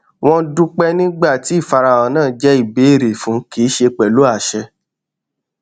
wọn dúpẹ nígbà tí ìfarahàn náà jẹ ìbéèrè fún kì í ṣe pẹlú àṣẹ